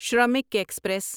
Shramik express